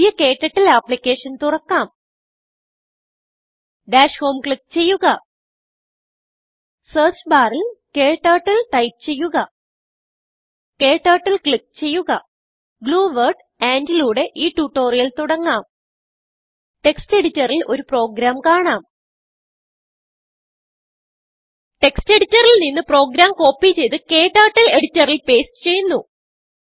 പുതിയ KTurtleഅപ്ലിക്കേഷൻ തുറക്കാം ഡാഷ് ഹോം ക്ലിക്ക് ചെയ്യുക സെർച്ച് ബാറിൽ KTurtleടൈപ്പ് ചെയ്യുക ക്ടർട്ടിൽ ക്ലിക്ക് ചെയ്യുക ഗ്ലൂ വേർഡ് andലൂടെ ഈ ട്യൂട്ടോറിയൽ തുടങ്ങാം ടെക്സ്റ്റ് എഡിറ്ററിൽ ഒരു പ്രോഗ്രാം കാണാം textഎഡിറ്ററിൽ നിന്ന് പ്രോഗ്രാം കോപ്പി ചെയ്ത് ക്ടർട്ടിൽ എഡിറ്ററിൽ പേസ്റ്റ് ചെയ്യുന്നു